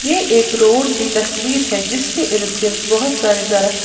ये एक रोड़ की तस्वीर है जिसके इर्द गिर्द बहुत सारे दरख़्त--